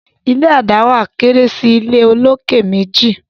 ilé a dáwà kéré sí ìlé olokè méjì